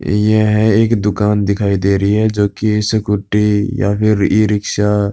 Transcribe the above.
यह है एक दुकान दिखाई दे रही है जोकि स्कूटी या फिर ई-रिक्शा --